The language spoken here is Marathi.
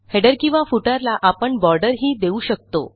हेडर किंवा footerला आपण बॉर्डरही देऊ शकतो